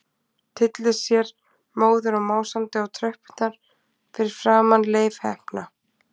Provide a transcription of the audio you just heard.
Tyllir sér móður og másandi á tröppurnar fyrir framan Leif heppna.